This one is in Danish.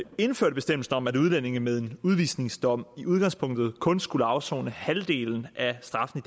indførte bestemmelsen om at udlændinge med en udvisningsdom i udgangspunktet kun skulle afsone halvdelen af straffen